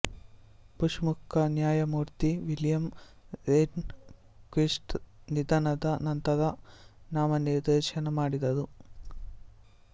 bush ಮುಖ್ಯ ನ್ಯಾಯಮೂರ್ತಿ William Rehnquist ರ ನಿಧನದ ನಂತರ ನಾಮನಿರ್ದೇಶನ ಮಾಡಿದರು